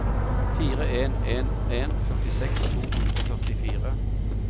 fire en en en førtiseks to hundre og førtifire